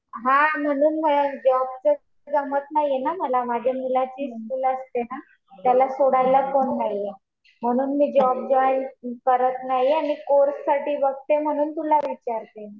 हा म्हणून मला जॉबचं जमत नाही ना मला. माझ्या मुलाची स्कुल असते ना. त्याला सोडायला कोणी नाहीये. म्हणून मी जॉब जॉईन करत नाहीये. आणि कोर्स साठी बघतीये म्हणून तुला विचारतीये.